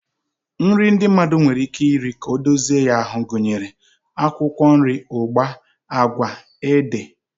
Nri ndị mmadụ nwere ike iri ka ọ dozie ya ahụ gụnyere akwụkwọ nri, ụgba, agwa, ede,